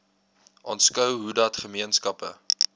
aanskou hoedat gemeenskappe